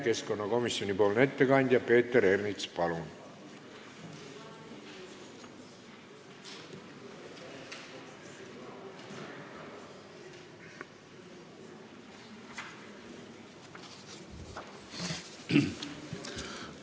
Keskkonnakomisjoni ettekandja Peeter Ernits, palun!